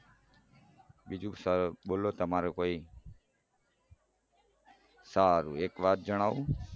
બીજું બોલો તમારું કોઈ સારું એક વાત જણાવું